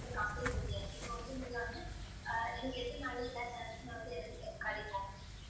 complaint சொல்லியாச்சு இப்ப வந்து நீங்க வந்து அஹ் எனக்கு எத்தனை நாள்ல எல்லா channels மே வந்து எனக்கு கிடைக்கும்